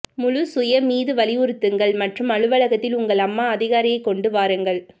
முழு சுய மீது வலியுறுத்துங்கள் மற்றும் அலுவலகத்தில் உங்கள் அம்மா அதிகாரியை கொண்டு வாருங்கள்